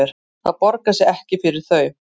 Það borgar sig ekki fyrir þau